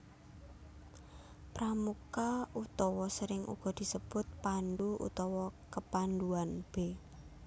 Pramuka utawa sering uga disebut pandhu utawa kepandhuan b